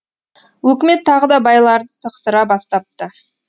өкімет тағы да байларды тықсыра бастапты